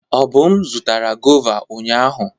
Obum zụtara gọva ụnyahụ.